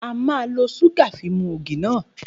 A ma lo súgà fi mu ògì náà